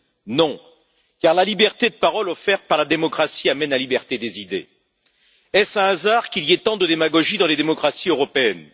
Non, car la liberté de parole offerte par la démocratie mène à la liberté des idées. Est ce un hasard s'il y a autant de démagogie dans les démocraties européennes?